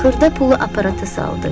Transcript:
Xırda pulu aparata saldı.